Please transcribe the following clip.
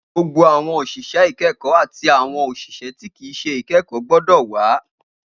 Gbogbo awọn oṣiṣẹ ikẹkọ ati awọn oṣiṣẹ ti kii ṣe ikẹkọ gbọdọ wa!